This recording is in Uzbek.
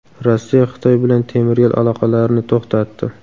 Rossiya Xitoy bilan temir yo‘l aloqalarini to‘xtatdi.